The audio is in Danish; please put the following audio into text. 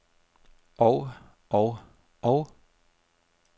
og og og